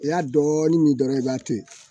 I y'a dɔɔnin mi dɔrɔn e b'a to yen